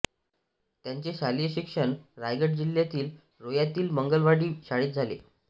त्यांचे शालेय शिक्षण रायगड जिल्ह्यातील रोह्यातील मंगलवाडी शाळेत झाले